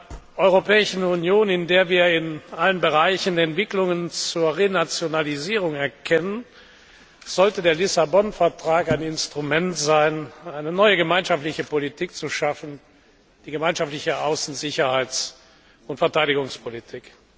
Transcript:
In einer Europäischen Union, in der wir in allen Bereichen Entwicklungen zur Renationalisierung erkennen, sollte der Vertrag von Lissabon ein Instrument sein, mit dem eine neue gemeinschaftliche Politik geschaffen wird die Gemeinsame Außen Sicherheits und Verteidigungspolitik.